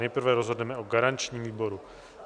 Nejprve rozhodneme o garančním výboru.